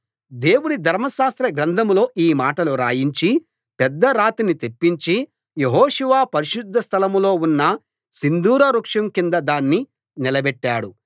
దేవుని ధర్మశాస్త్రగ్రంథంలో ఈ మాటలు రాయించి పెద్ద రాతిని తెప్పించి యెహోషువ పరిశుద్ధస్థలం లో ఉన్న సింధూర వృక్షం కింద దాన్ని నిలబెట్టాడు